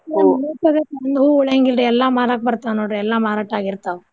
ಒಂದ್ ಹೂವ್ ಉಳಿಯಂಗ್ ಇಲ್ರೀ ಎಲ್ಲಾ ಮರಾಕ್ ಬರ್ತಾವ್ ನೋಡ್ರಿ ಎಲ್ಲಾ ಮಾರಾಟ್ ಆಗಿರ್ತಾವ್.